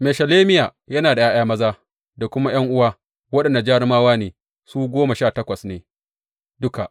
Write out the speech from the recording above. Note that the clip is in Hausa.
Meshelemiya yana da ’ya’ya maza da kuma ’yan’uwa, waɗanda jarumawa ne, su goma sha takwas ne duka.